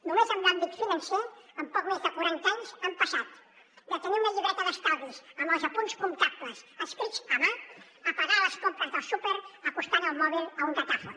només en l’àmbit financer en poc més de quaranta anys hem passat de tenir una llibreta d’estalvis amb els apunts comptables escrits a mà a pagar les compres del súper acostant el mòbil a un datàfon